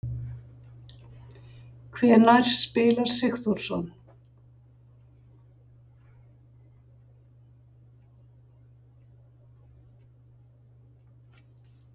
Hvenær spilar Sigþórsson?